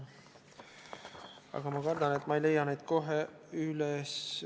Aga ma kardan, et ma ei leia neid kohe üles.